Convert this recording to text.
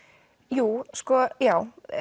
jú sko já